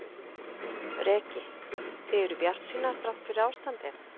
Breki: Þið eruð bjartsýnar þrátt fyrir ástandið?